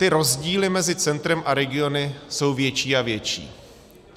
Ty rozdíly mezi centrem a regiony jsou větší a větší.